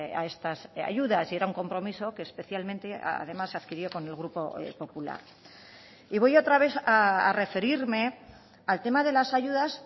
a estas ayudas y era un compromiso que especialmente además adquirió con el grupo popular y voy otra vez a referirme al tema de las ayudas